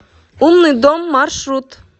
умный дом маршрут